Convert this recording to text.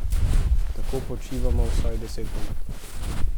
Tako počivamo vsaj deset minut.